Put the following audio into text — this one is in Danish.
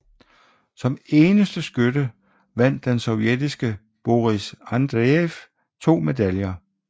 Som eneste skytte vandt den sovjetiske Boris Andrejev 2 medaljer